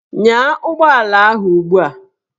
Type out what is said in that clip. Nyaa ụgbọala ahụ ugbu a!